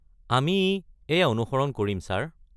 আমি এইয়া অনুসৰণ কৰিম, ছাৰ।